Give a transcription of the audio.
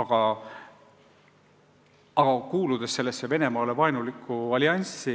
Aga kuna me kuulume Venemaale vaenulikku allianssi,